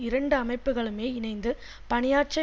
இரண்டு அமைப்புக்களுமே இணைந்து பணியாற்ற